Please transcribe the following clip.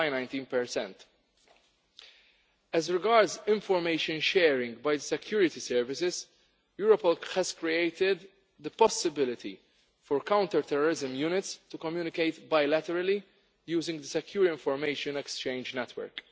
19. As regards information sharing by security services, Europol has created the possibility for counter-terrorism units to communicate bilaterally using the Secure Information Exchange Network.